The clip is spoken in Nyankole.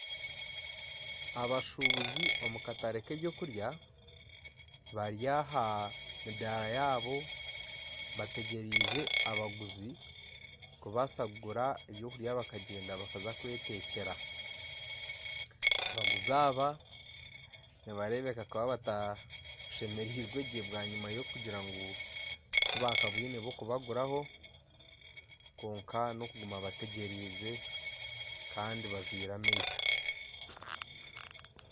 Abashuubuzi omu katare k'eby'okurya bari aha midaara yaabo bategyerize abaguzi kubaasa kugura eby’okurya bakagyenda bakaza kwetekyera abaguzi aba nibareebeka kuba batashemerirwe gye bwanyima y'okugira ngu tibakabwine b'okubaguraho kwonka n'okuguma bategyerize kandi bazwire amaisho.